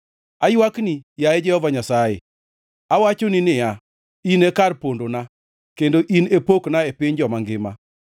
Aywakni, yaye Jehova Nyasaye; awachoni niya, “In e kar pondona, kendo in e pokna e piny joma ngima.”